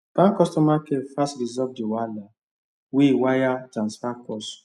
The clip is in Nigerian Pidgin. bank customer care fast resolve the wahala wey wire transfer cause